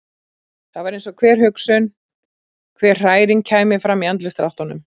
Það var eins og hver hugsun, hver hræring kæmi fram í andlitsdráttunum.